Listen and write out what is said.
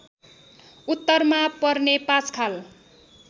उत्तरमा पर्ने पाँचखाल